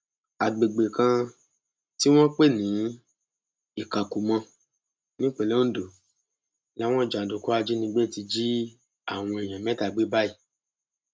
àgbègbè kan tí wọn ń pè ní ìkàkùmọ nípínlẹ ondo làwọn jàǹdùkú ajínigbé ti jí àwọn èèyàn mẹta gbé báyìí